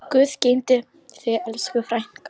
Guð geymi þig, elsku frænka.